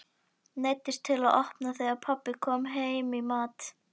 Neyddist til að opna þegar pabbi kom heim í mat.